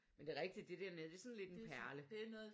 Men det er rigtigt det dér nede det er sådan lidt en perle